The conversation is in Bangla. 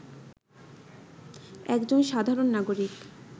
একজন সাধারণ নাগরিক